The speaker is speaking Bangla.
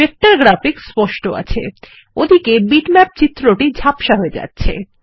ভেক্টর গ্রাফিক স্পষ্ট আছে ওদিকে বিটম্যাপ চিত্র ঝাপসা হয়ে যাচ্ছে